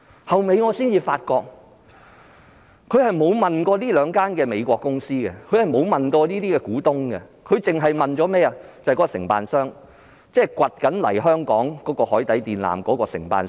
我及後才發現，局方並沒有向該兩間美國公司或股東查詢，只詢問了承辦商，即正在挖掘海床敷設海底電纜的承辦商。